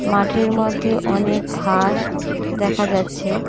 মাঠের মধ্যে অনেক ঘাস দেখা যাচ্ছে।